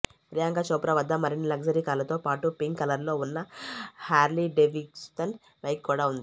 ప్రియాంక చోప్రా వద్ద మరిన్ని లగ్జరీ కార్లతో పాటు పింక్ కలర్లో ఉన్న హ్యార్లీ డేవిడ్సన్ బైకు కూడా ఉంది